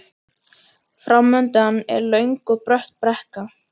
Framundan var löng og brött brekka.